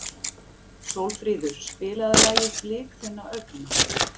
Sólfríður, spilaðu lagið „Blik þinna augna“.